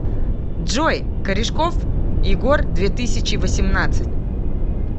джой корешков егор две тысячи восемнадцать